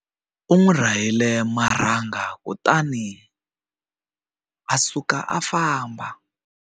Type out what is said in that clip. U n'wi rahile marhanga kutani a suka a famba.